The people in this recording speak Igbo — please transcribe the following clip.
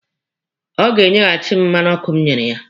Ọ ga-enyehasi m mmanụ ọkụ m nyere ya.